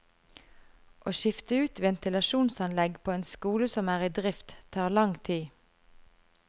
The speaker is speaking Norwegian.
Å skifte ut ventilasjonsanlegg på en skole som er i drift, tar lang tid.